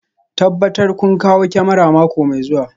Tabbatar kun kawo kyamarar mako mai zuwa